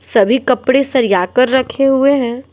सभी कपडे सरियाकर रखे है।